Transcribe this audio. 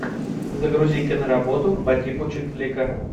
загрузи киноработу по типу чик флика